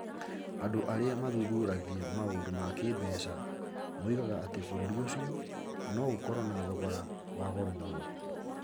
Andũ arĩa mathuthuragia maũndũ ma kĩĩmbeca moigaga atĩ bũrũri ũcio no ũkorũo na thogora wa goro mũno.